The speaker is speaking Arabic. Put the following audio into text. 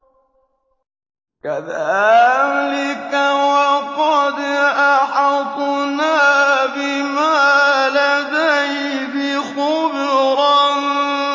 كَذَٰلِكَ وَقَدْ أَحَطْنَا بِمَا لَدَيْهِ خُبْرًا